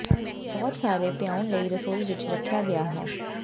ਇਹ ਬਹੁਤ ਸਾਰੇ ਪਿਆਉਣ ਲਈ ਰਸੋਈ ਵਿਚ ਰੱਖਿਆ ਗਿਆ ਹੈ